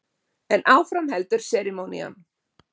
En áfram heldur serimónían.